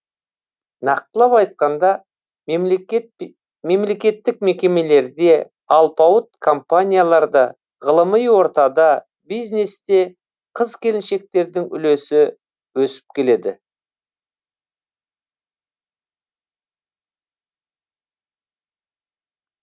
нақтылап айтқанда мемлекеттік мекемелерде алпауыт компанияларда ғылыми ортада бизнесте қыз келіншектердің үлесі өсіп келеді